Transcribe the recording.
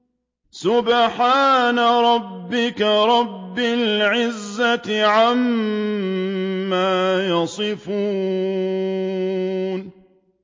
سُبْحَانَ رَبِّكَ رَبِّ الْعِزَّةِ عَمَّا يَصِفُونَ